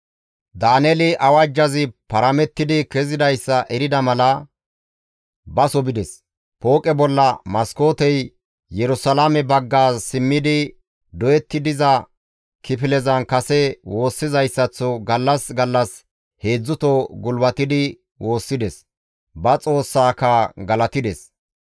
Daaneeli awajjazi paramettidi kezidayssa erida mala baso bides; pooqe bolla maskootey Yerusalaame bagga simmidi doyetti diza kifilezan kase woossizayssaththo gallas gallas heedzdzuto gulbatidi woossides; ba Xoossaaka galatides.